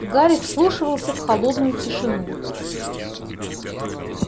гарри вслушивался в холодную тишину